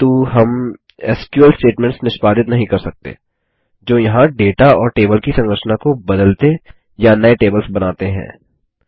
किन्तु हम SQL statements निष्पादित नहीं कर सकते जो यहाँ डेटा और टेबल की संरचना को बदलते या नये टेबल्स बनाते हैं